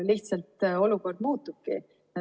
Lihtsalt olukord muutubki.